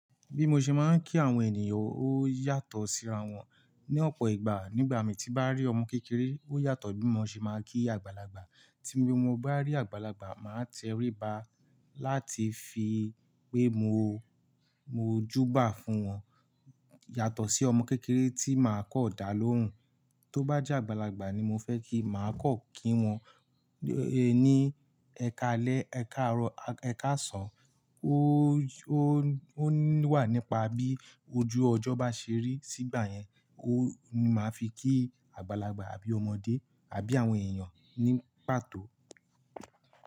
Bí mo ṣe máa ń kí àwọn ènìyàn ó yàtọ̀ síra wọn. Ni ọ̀pọ̀ ìgbà nígbà mi tí bá rí ọmọ kékeré ó yàtọ̀ bí mo ṣe máa ń kí àgbàlagbà. Tí mo bá rí àgbàlagbà máa tẹríba láti fi pé mo, mo júbà fún wọn yàtọ̀ sí ọmọ kékeré tí màá kọ́ ọ̀dà lóùn. Tó bá jẹ́ àgbàlagbà ni mo fẹ́ kí màá kan kí wọn. Ní ẹkalẹ́, ẹka árọ̀, ẹka sàn. Ó, ó, ó wà nípa bí ojú ọjọ́ bá ṣe rí. Sígbà yẹn ó ni màá fi kí àgbàlagbà àbí ọmọdé àbí àwọn èèyàn ní pàtó.